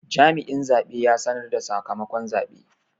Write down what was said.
Jami'in zabe ya sanar da sakamakon zabe.